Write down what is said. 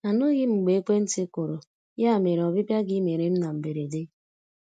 Anụghị m mgbe ekwentị kụrụ, ya mere ọbịbịa gị mere m na mberede.